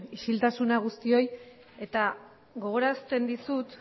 isiltasuna guztioi eta gogorarazten dizut